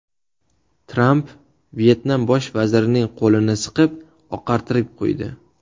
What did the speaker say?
Tramp Vyetnam bosh vazirining qo‘lini siqib, oqartirib qo‘ydi.